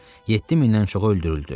7000-dən çoxu öldürüldü.